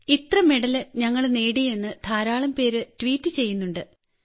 ഇത്ര മെഡൽ ഞങ്ങൾ നേടി എന്ന് ധാരാളംപേർ ട്വീറ്റ് ചെയ്യുന്നുണ്ട്